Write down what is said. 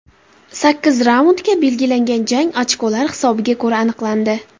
Sakkiz raundga belgilangan jang ochkolar hisobiga ko‘ra aniqlandi.